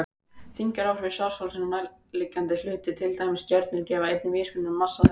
Þyngdaráhrif svartholsins á nærliggjandi hluti, til dæmis stjörnur, gefa einnig vísbendingar um massa þess.